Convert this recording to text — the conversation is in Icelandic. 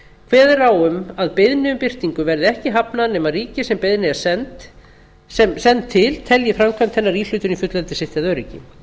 er á um að beiðni um birtingu verði ekki hafnað nema ríkið sem beiðni er send til telji framkvæmd hennar íhlutun í fullveldi sitt eða öryggi